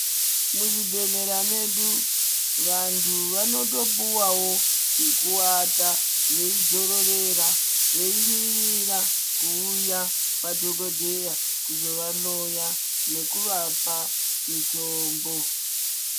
Muzvibhehlera medu vantu vanotopuwawo pekuwata veidzororera veimirira kuuya kwadhokodheya kuzovahloya nekuvapa mitombo.